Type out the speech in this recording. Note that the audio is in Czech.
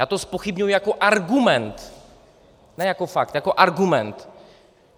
Já to zpochybňuji jako argument, ne jako fakt, jako argument.